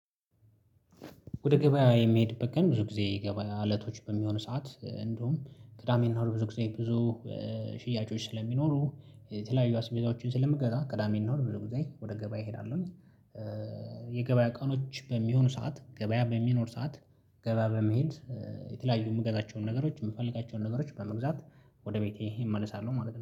ወደ ገበያ የሚሄድበት ቀን ብዙ ጊዜ ገበያ እለቶች በሚሆን ሰዓት እንዲሁም ቅዳሜና እሁድ ብዙ ጊዜ ብዙ ሽያጮች ስለሚኖሩ የተለያዩ አስቤዛዎችን ስለምገዛ ቅዳሜና እሁድ ብዙ ጊዜ ወደ ገበያ እሄዳለሁ። የገበያ ቀኖች በሚሆኑ ሰዓት ገበያ በሚኖር ሰዓት ገበያ በመሄድ የተለያዩ የምገዛቸውን ነገሮች የምፈልጋቸውን ነገሮች በመግዛት ወደ ቤቴ እመለሳለሁ ማለት ነው